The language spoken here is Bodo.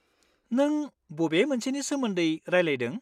नों बबे मोनसेनि सोमोन्दै रायलायदों?